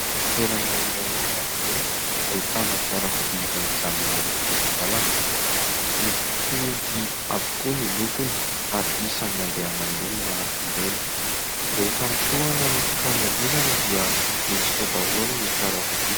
Toerana iray eny an-dalambe ahitana fiarakodia izay mijanona eny amin'ny sisin-dalana. Mitovy avokoa ny lokony ary isan'ny andehanan'ny olona ireny. Rehefa mitohana ny fifamoivoizana dia mihitsoka eo daholo ny fiarakodia.